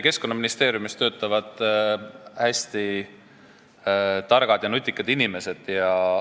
Keskkonnaministeeriumis töötavad hästi targad ja nutikad inimesed.